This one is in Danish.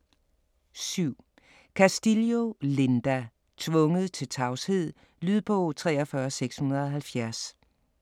7. Castillo, Linda: Tvunget til tavshed Lydbog 43670